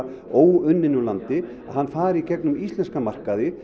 óunninn úr landi að hann fari í gegnum íslenska markaði